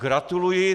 Gratuluji!